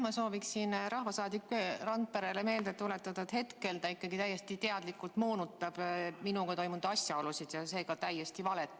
Ma sooviksin rahvasaadik Randperele meelde tuletada, et ta hetkel ikkagi täiesti teadlikult moonutab minuga toimunu asjaolusid ja seega levitab täiesti valet.